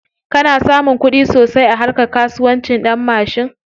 Kana samun kuɗi sosai a harka kasuwancin ɗanmashin?